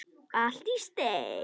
Allt í steik.